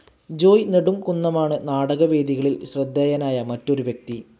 ജോയ്‌ നെടുംകുന്നമാണ്‌ നാടക വേദികളിൽ ശ്രദ്ധേയനായ മറ്റൊരു വ്യക്തി.